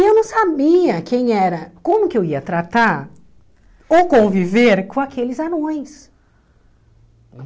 E eu não sabia quem era, como que eu ia tratar ou conviver com aqueles anões.